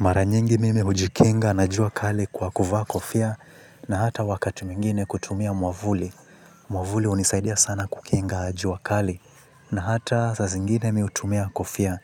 Mara nyingi mimi hujikinga na jua kali kwa kuvaa kofia na hata wakati mwingine kutumia mwamvuli. Mwamvuli hunisaidia sana kukinga jua kali na hata saa zingine mimi hutumia kofia.